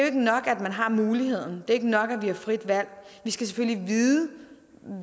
ikke nok at man har muligheden det er ikke nok at vi har frit valg vi skal selvfølgelig vide